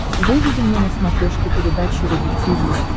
выведи мне на смотрешке передачу рубль ти ви